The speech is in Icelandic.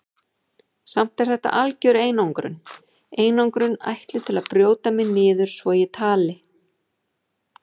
Samt er þetta algjör einangrun, einangrun ætluð til að brjóta mig niður svo ég tali.